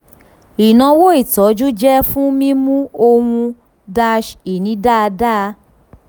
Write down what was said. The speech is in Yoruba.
ìnáwó ìtọ́jú jẹ́ fún mímú ohun-ini dáadáa.